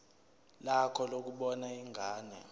lakho lokubona ingane